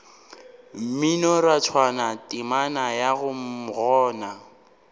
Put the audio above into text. mminorathwana temana ya mm gona